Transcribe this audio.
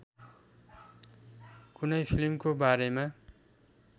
कुनै फिल्मको बारेमा